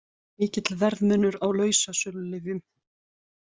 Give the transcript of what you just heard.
Mikill verðmunur á lausasölulyfjum